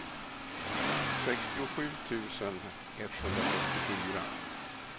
sextiosju tusen etthundrafyrtiofyra